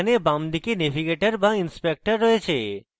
এখানে বামদিকে navigator বা inspector রয়েছে